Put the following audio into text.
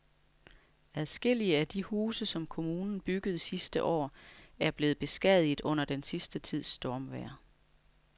Adskillige af de huse, som kommunen byggede sidste år, er blevet beskadiget under den sidste tids stormvejr.